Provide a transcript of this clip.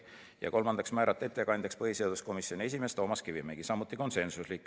Ja kolmandaks, määrata ettekandjaks põhiseaduskomisjoni esimees Toomas Kivimägi .